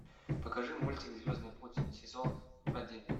покажи мультик звездный путь сезон один